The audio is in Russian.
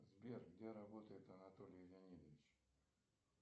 сбер где работает анатолий леонидович